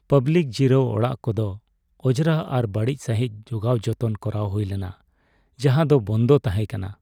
Public ᱡᱤᱨᱟᱹᱣ ᱚᱲᱟᱜ ᱠᱚᱫᱚ ᱚᱸᱡᱽᱨᱟ ᱟᱨ ᱵᱟᱹᱲᱤᱡ ᱥᱟᱹᱦᱤᱡ ᱡᱚᱜᱟᱣ ᱡᱚᱛᱚᱱ ᱠᱚᱨᱟᱣ ᱦᱩᱭᱞᱮᱱᱟ, ᱡᱟᱦᱟᱸ ᱫᱚ ᱵᱚᱱᱫᱚ ᱛᱟᱦᱮᱸ ᱠᱟᱱᱟ ᱾